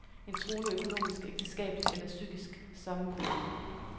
Et truende økonomisk, ægteskabeligt eller psykisk sammenbrud.